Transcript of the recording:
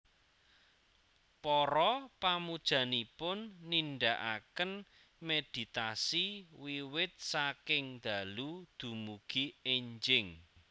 Para pamujanipun nindakaken méditasi wiwit saking dalu dumugi énjing